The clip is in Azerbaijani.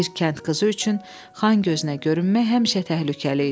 Bir kənd qızı üçün Xan gözünə görünmək həmişə təhlükəli idi.